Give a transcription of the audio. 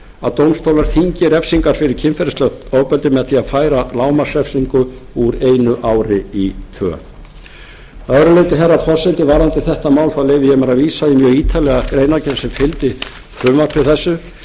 að dómstólar þyngi refsingar fyrir kynferðislegt ofbeldi með því að færa lágmarksrefsingu úr einu ári í tvö að öðru leyti herra forseti varðandi þetta mál leyfi ég mér að vísa í mjög ítarlega greinargerð sem fylgdi frumvarpi þessu en hún byggir